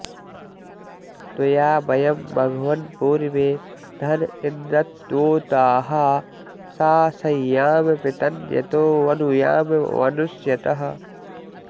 त्वया॑ व॒यं म॑घव॒न्पूर्व्ये॒ धन॒ इन्द्र॑त्वोताः सासह्याम पृतन्य॒तो व॑नु॒याम॑ वनुष्य॒तः